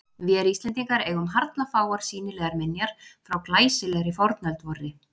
Vér Íslendingar eigum harla fáar sýnilegar minjar frá glæsilegri fornöld vorri.